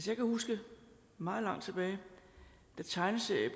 jeg kan huske meget langt tilbage da tegneserier